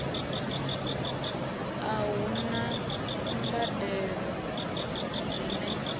a hu na mbadelo dzine